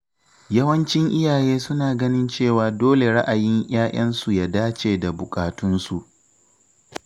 Yawancin iyaye suna ganin cewa dole ra'ayin ‘ya’yansu ya dace da buƙatunsu.